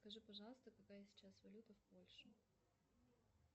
скажи пожалуйста какая сейчас валюта в польше